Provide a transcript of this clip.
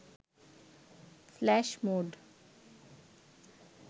flash move